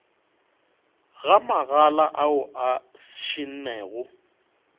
ga magala ao a šennego